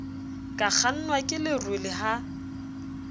ka kgangwa ke lerole ha